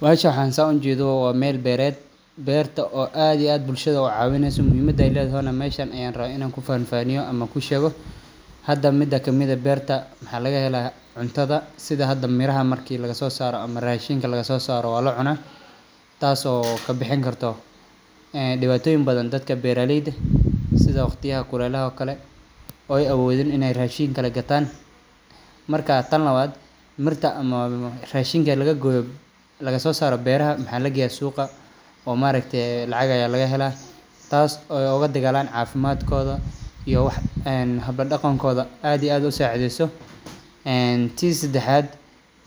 Bahashan waxan saa ujedo wa meel beered. Beerta o aad iyo ad bulashada u cawinayso muhiimada ay ledhahayna meshan aya rawa in an kufanfaniyo ama kusheqo. Hada mida kamid eh beerta maxa lagahela cuntadha sidha hada meeraha marki lagasosaro ama rashinka lagasosaro wa lacuna taaso kabixin karto een dibatoyiin badhan daadka beera layda sidha waqtiyaha kulelaha o kale oo ay awudiin in ay rashiin kale ay gataan. Marka taan lawaad mirta ama rashinka laga goyo laga so saro beeraha maxa lageya suga oo marakatee lacag aya lagahela taaso o ogadagalan cafimaadkodha iyo wax habla dagankodha ad iyo aad usacidheyso. Tii sadaxad,